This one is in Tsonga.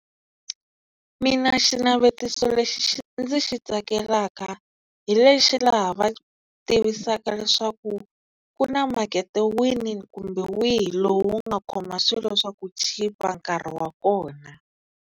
Mina xinavetiso lexi ndzi xi tsakelala hi lexi laha va tivisaka leswaku ku na makete wini kumbe wihi lowu nga khoma swilo swa ku chipa nkarhi wa kona.